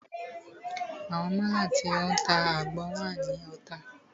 Àwọn málà tí o ń ta àgbọn wà ní Ota.